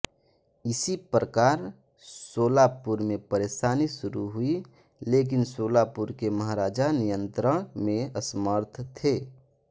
इसी प्रकार सोलापुर में परेशानी शुरू हुई लेकिन सोलापुर के महाराजा नियंत्रण में असमर्थ थे